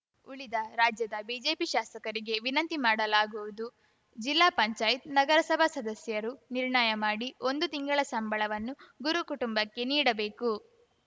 ಉಳಿದ ರಾಜ್ಯದ ಬಿಜೆಪಿ ಶಾಸಕರಿಗೆ ವಿನಂತಿ ಮಾಡಲಾಗುವುದು ಜಿಲ್ಲಾ ಪಂಚಾಯ್ತ್ ನಗರಸಭಾ ಸದಸ್ಯರು ನಿರ್ಣಯ ಮಾಡಿ ಒಂದು ತಿಂಗಳ ಸಂಬಳವನ್ನು ಗುರು ಕುಟುಂಬಕ್ಕೆ ನೀಡಬೇಕು